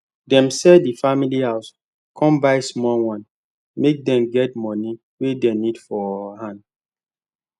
dem sell der family house con buy small one make dem get money wey dem need for hand